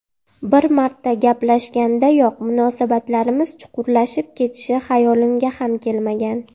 Bir marta gaplashgandayoq munosabatlarimiz chuqurlashib ketishi xayolimga ham kelmagan.